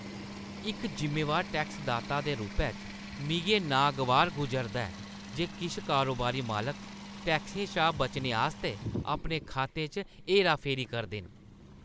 इक जिम्मेवार टैक्सदाता दे रूपै च, मिगी एह् नागवार गुजरदा ऐ जे किश कारोबारी मालक टैक्सें शा बचने आस्तै अपने खातें च हेराफेरी करदे न।